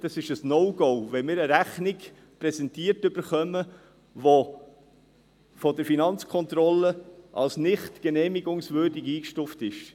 Es ist ein No-Go, wenn wir eine Rechnung präsentiert erhalten, die von der FK als nicht genehmigungswürdig eingestuft ist.